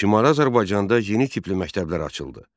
Şimali Azərbaycanda yeni tipli məktəblər açıldı.